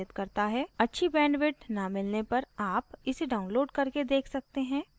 अच्छी bandwidth न मिलाने पर आप इसे download करके देख सकते हैं